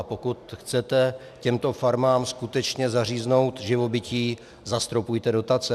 A pokud chcete těmto farmám skutečně zaříznout živobytí, zastropujte dotace.